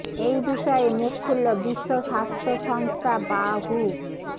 এই বিষয়ে মুখ খুলল বিশ্ব স্বাস্থ্য সংস্থা বা হু